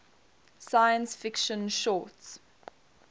science fiction short